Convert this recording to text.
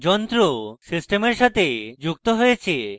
যন্ত্র সিস্টেমের সাথে যুক্ত হয়েছে